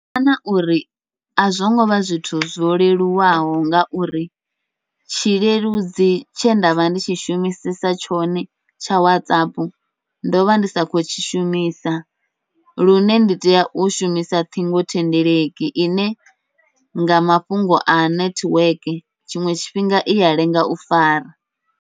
Ndo wana uri azwo ngovha zwithu zwo leluwaho, ngauri tshi leludzi tshe ndavha ndi tshi shumisesa tshone tsha Whatsapp ndovha ndi sa khou u tshi shumisa. Lune ndi tea u shumisa ṱhingothendeleki ine nga mafhungo a nethiweke tshiṅwe tshifhinga iya lenga u fara.